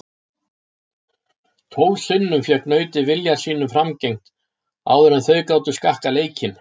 Tólf sinnum fékk nautið vilja sínum framgengt áður en þau gátu skakkað leikinn.